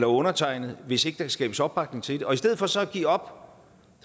undertegnede hvis der ikke kan skabes opbakning til det og i stedet for så at give op